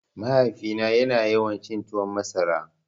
Mahaifina ya na yawan cin tuwon masara